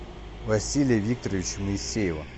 василия викторовича моисеева